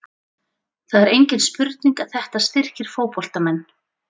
Það er engin spurning að þetta styrkir fótboltamenn.